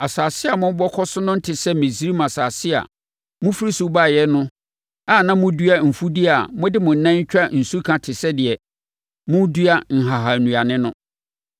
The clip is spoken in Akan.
Asase a morebɛkɔ so no nte sɛ Misraim asase a mofiri so baeɛ no a na modua mfudeɛ a mode mo nan twa nsuka te sɛ deɛ moredua nhahannuane no.